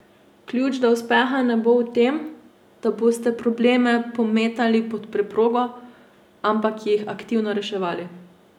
Ključ do uspeha ne bo v tem, da boste probleme pometali pod preprogo, ampak jih aktivno reševali.